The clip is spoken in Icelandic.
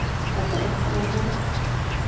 Þetta er einkamál þeirra